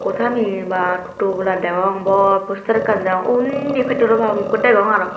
tameye bwaa tobola degong bor postar ekkan dejong undi petrol pump ukko degong aro.